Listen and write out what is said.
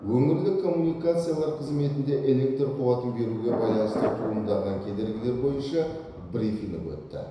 өңірлік коммуникациялар қызметінде электр қуатын беруге байланысты туындаған кедергілер бойынша брифинг өтті